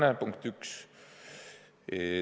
See on punkt üks.